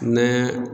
Ne